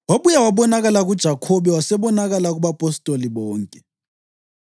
Wabuya wabonakala kuJakhobe, wasebonakala kubapostoli bonke,